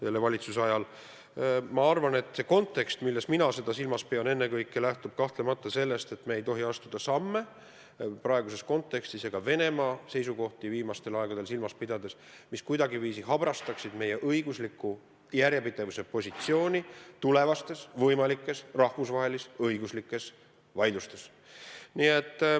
See kontekst, mida mina seda öeldes silmas pean, on kahtlemata ennekõike arusaam, et me ei tohi astuda samme – praeguses kontekstis ja Venemaa viimaste aegade seisukohti silmas pidades –, mis kuidagiviisi habrastaksid meie õigusliku järjepidevuse positsiooni võimalikes tulevastes rahvusvahelis-õiguslikes vaidlustes.